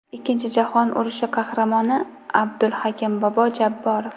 Ikkinchi jahon urushi qahramoni Abdulhakim bobo Jabborov.